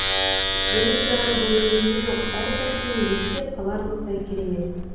бөліп жарар дәнемесі жоқ әр картина есте қаларлықтай керемет